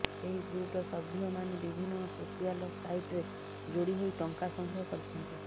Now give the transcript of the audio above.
ଏହି ଗ୍ରୁପର ସଭ୍ୟମାନେ ବିଭିନ୍ନ ସୋସିଆଲ୍ ସାଇଟ୍ରେ ଯୋଡ଼ି ହୋଇ ଟଙ୍କା ସଂଗ୍ରହ କରିଛନ୍ତି